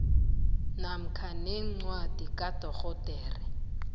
namkha nencwadi kadorhodera